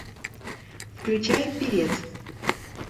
включай певец